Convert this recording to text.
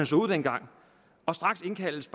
så ud dengang og straks indkaldes